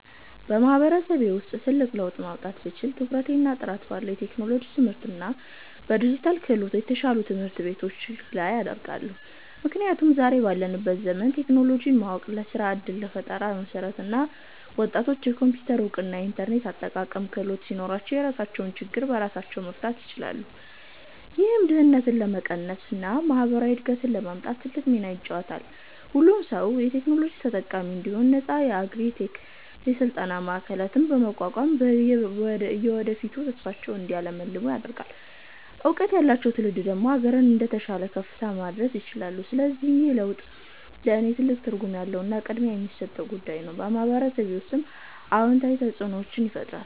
በማህበረሰቤ ውስጥ ትልቅ ለውጥ ማምጣት ብችል፣ ትኩረቴን ጥራት ባለው የቴክኖሎጂ ትምህርትና በዲጂታል ክህሎት፣ የተሻሉ ትምህርት ቤቶች ላይ አደርጋለሁ። ምክንያቱም ዛሬ ባለንበት ዘመን ቴክኖሎጂን ማወቅ ለስራ ዕድልና ለፈጠራ መሠረት ነው። ወጣቶች የኮምፒውተር እውቀትና የኢንተርኔት አጠቃቀም ክህሎት ሲኖራቸው፣ የራሳቸውን ችግር በራሳቸው መፍታት ይችላሉ። ይህም ድህነትን ለመቀነስና ማህበራዊ እድገትን ለማምጣት ትልቅ ሚና ይጫወታል። ሁሉም ሰው የቴክኖሎጂ ተጠቃሚ እንዲሆን ነፃ የአግሪ -ቴክ የስልጠና ማዕከላትን በማቋቋም፣ የወደፊት ተስፋቸውን እንዲያልሙ አደርጋለሁ። እውቀት ያለው ትውልድ ደግሞ አገርን ወደተሻለ ከፍታ ማድረስ ይችላል። ለዚህም ነው ይህ ለውጥ ለእኔ ትልቅ ትርጉም ያለውና ቅድሚያ የምሰጠው ጉዳይ የሆነው፤ በማህበረሰቤ ውስጥም አዎንታዊ ተፅእኖን ይፈጥራል።